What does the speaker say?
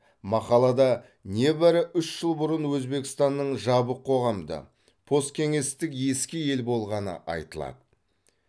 мақалада небәрі үш жыл бұрын өбекстанның жабық қоғамды посткеңестік ескі ел болғаны айтылады